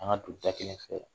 An ka don da kɛlɛ fɛ.